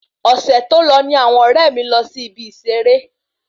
Ọsẹ tó lọ ní àwọn ọrẹ mi lọ sí ìbi ìseré